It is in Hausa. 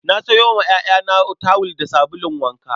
Na sayo wa 'ya'yana tawul da sabulun wanka.